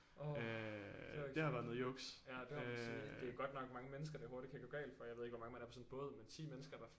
Åh det var ikke så godt ja det må man sige det er godt nok mange mennesker det hurtigt kan gå galt for jeg ved ikke hvor mange man er på sådan en båd men 10 mennesker der